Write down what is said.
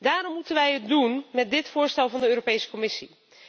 Daarom moeten wij het doen met dit voorstel van de Europese Commissie.